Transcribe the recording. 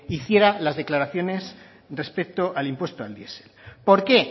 hiciera las declaraciones respecto al impuesto al diesel por qué